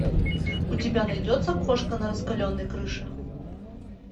у тебя найдется кошка на раскаленной крыше